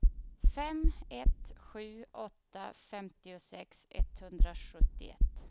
fem ett sju åtta femtiosex etthundrasjuttioett